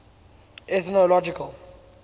ethnological